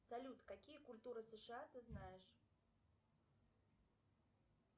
салют какие культуры сша ты знаешь